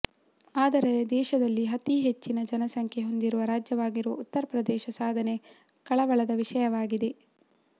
ಆದರೆ ದೇಶದಲ್ಲಿ ಅತೀ ಹೆಚ್ಚಿನ ಜನಸಂಖ್ಯೆ ಹೊಂದಿರುವ ರಾಜ್ಯವಾಗಿರುವ ಉತ್ತರಪ್ರದೇಶದ ಸಾಧನೆ ಕಳವಳದ ವಿಷಯವಾಗಿದೆ